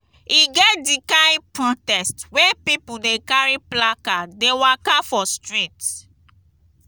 e get di kain protest wey pipo dey carry placard dey waka for street.